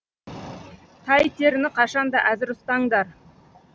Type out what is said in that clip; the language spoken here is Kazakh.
тайтеріні қашан да әзір ұстаңдар